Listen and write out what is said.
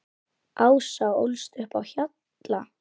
Ása ólst upp á Hjalla.